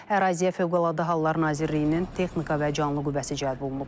Əraziyə Fövqəladə Hallar Nazirliyinin texnika və canlı qüvvəsi cəlb olunub.